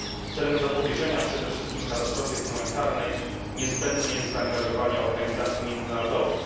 Aby móc zapobiec przede wszystkim katastrofie humanitarnej, niezbędne jest zaangażowanie organizacji międzynarodowych.